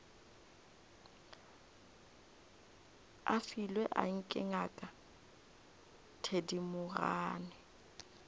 a filwe anke ngaka thedimogane